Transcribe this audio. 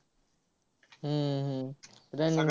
हम्म hmm running